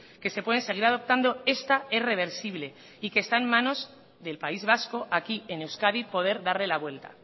que se pueden seguir adoptando esta es reversible y que está en manos del país vasco aquí en euskadi poder darle la vuelta